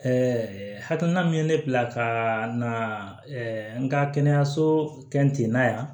hakilina min ye ne bila ka na n ka kɛnɛyaso na yan